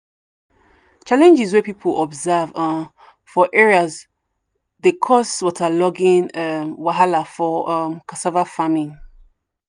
challenges wey people observe um for area dey cause waterlogging um wahala for um cassava farming.